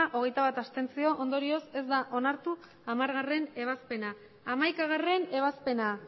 hogeita bat ondorioz ez da onartu hamargarrena ebazpena hamaikagarrena ebazpena